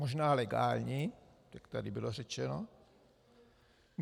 Možná legální, jak tady bylo řečeno.